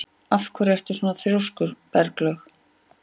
Af hverju ertu svona þrjóskur, Berglaug?